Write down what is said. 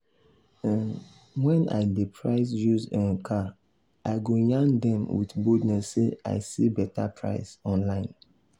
um when i dey price used um car i go yarn them with boldness say i see better price online.